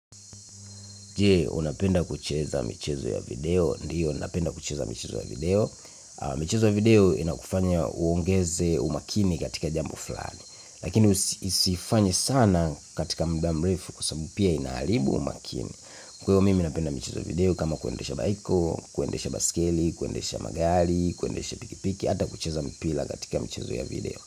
Je, unapenda kucheza michezo ya video? Ndio, napenda kucheza michezo ya video. Michezo ya video inakufanya uongeze umakini katika jambo fulani. Lakini usiifanye sana katika muda mrefu kwa sababu pia inaharibu umakini. Kwa hiyo mimi napenda michezo video kama kuendesha baiko, kuendesha baiskeli, kuendesha magari, kuendesha pikipiki, hata kucheza mpira katika michezo ya video.